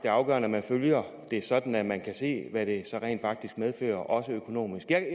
afgørende at man følger det sådan at man kan se hvad det rent faktisk medfører også økonomisk jeg